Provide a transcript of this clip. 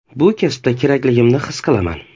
Bu kasbda kerakligimni his qilaman.